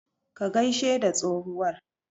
Ka gaishe da tsohuwar.